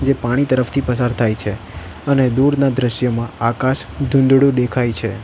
એ પાણી તરફથી પસાર થાય છે અને દૂરના દ્રશ્યમાં આકાશ ધૂંધળુ દેખાય છે.